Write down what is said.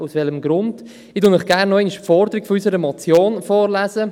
Ich lese Ihnen gerne nochmals die Forderung unserer Motion vor: